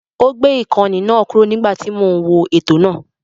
Ó gbé ìkànnì náà kúrò nígbà tí mò ń wo ètò náà.